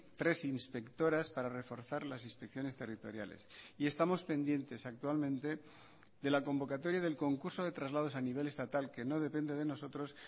tres inspectoras para reforzar las inspecciones territoriales y estamos pendientes actualmente de la convocatoria del concurso de traslados a nivel estatal que no depende de nosotros